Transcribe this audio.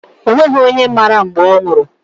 O nweghị onye mara mgbe ọ nwụrụ.